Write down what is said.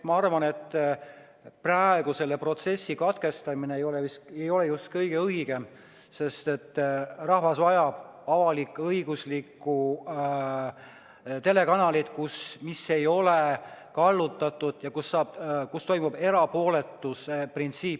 Ma arvan, et praegu selle protsessi katkestamine ei ole just kõige õigem, sest rahvas vajab avalik-õiguslikku telekanalit, mis ei oleks kallutatud ja kus toimiks erapooletuse printsiip.